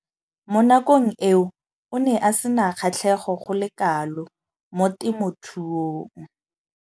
Mo nakong eo o ne a sena kgatlhego go le kalo mo temothuong.